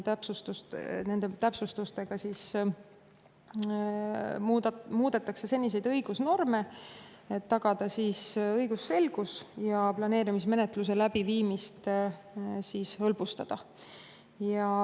Nende täpsustustega muudetakse seniseid õigusnorme, et tagada õigusselgus ja hõlbustada planeerimismenetluse läbiviimist.